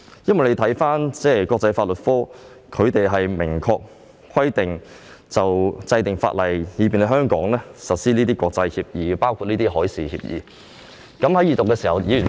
就國際法律科的職責，已有明確規定是要制定法例，以便香港實施國際協議，包括海事協議。